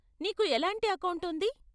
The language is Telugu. నీకు ఎలాంటి అకౌంట్ ఉంది?